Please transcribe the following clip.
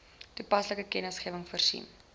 toepaslike kennisgewings voorsien